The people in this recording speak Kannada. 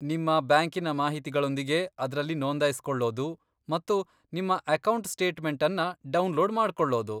ನಿಮ್ಮ ಬ್ಯಾಂಕಿನ ಮಾಹಿತಿಗಳೊಂದಿಗೆ ಅದ್ರಲ್ಲಿ ನೋಂದಾಯಿಸ್ಕೊಳ್ಳೋದು ಮತ್ತು ನಿಮ್ಮ ಅಕೌಂಟ್ ಸ್ಟೇಟ್ಮೆಂಟನ್ನ ಡೌನ್ಲೋಡ್ ಮಾಡ್ಕೊಳ್ಳೋದು.